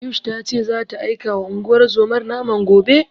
Ayush ta ce zata aikawa unguwar zomar naman gobe.